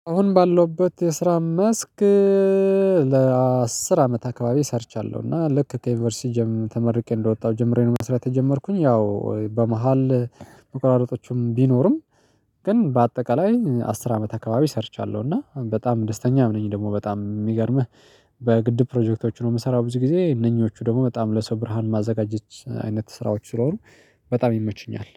አሁን ባለሁበት የስራ መስክ ለአስር አመት አካባቢ ሰርቻለሁ። እና ልክ ከዩኒቨርሲቲ ጀምሮ ተመርቄ እንደወጣሁ ጀምሬ ነው መስሪያ ተጀመርኩኝ ያው በመሃል መቆራረጦቹም ቢኖርም ግን በአጠቃላይ አስር አመት አካባቢ ሰርቻለሁ። እና በጣም ደስተኛ ነኝ። ደግሞ በጣም የሚገርምህ በግድብ ፕሮጀክቶች ነው የምሰራው ብዙ ጊዜ እነኚህዎቹ ደግሞ በጣም ለሰው ብርሃን ማዘጋጀት አይነት ስራዎች ስለሆኑ። በጣም ይመቹኛል